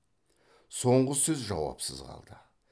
соңғы сөзі жауапсыз қалды